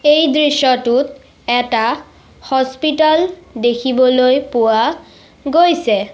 এই দৃশ্যটোত এটা হস্পিটেল দেখিবলৈ পোৱা গৈছে।